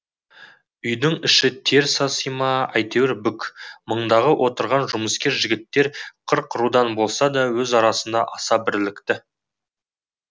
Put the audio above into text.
үйдің іші тер саси ма әйтеуір бүк мұндағы отырған жұмыскер жігіттер қырық рудан болса да өз арасында аса бірлікті